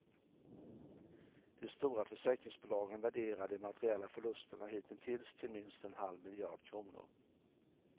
De stora försäkringsbolagen värderar de materiella förlusterna hittills till minst en halv miljard kronor.